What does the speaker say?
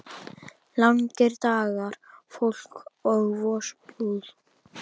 Langir dagar, volk og vosbúð.